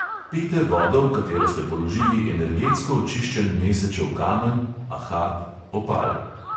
Pijte vodo, v katero ste položili energetsko očiščen mesečev kamen, ahat, opal.